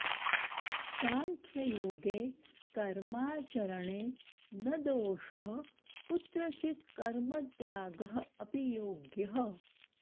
साङ्ख्ययोगे कर्माचरणे न दोषः कुत्रचिद् कर्मत्यागः अपि योग्यः